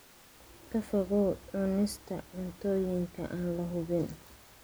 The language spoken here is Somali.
Ka fogow cunista cuntooyinka aan la hubin.